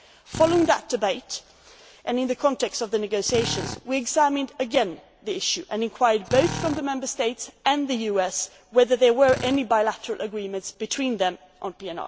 terrorists. Following that debate, and in the context of the negotiations, we again examined the issue, and asked both the Member States and the US whether there were any bilateral agreements between